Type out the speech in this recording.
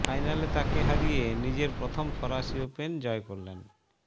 ফাইনালে তাঁকে হারিয়ে নিজের প্রথম ফরাসি ওপেন জয় করলেন